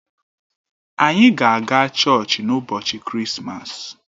Ànyị ga-aga chọọchị n'ụbọchị Krismas?